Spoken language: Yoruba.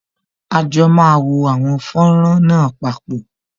À jọ máa wo àwọn fọ́nrán náà papọ